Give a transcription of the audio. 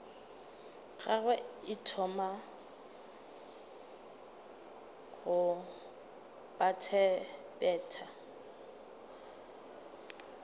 gagwe e thoma go bethabetha